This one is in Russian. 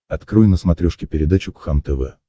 открой на смотрешке передачу кхлм тв